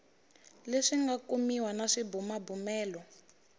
leswi nga kumiwa na swibumabumelo